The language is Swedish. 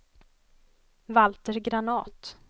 Valter Granath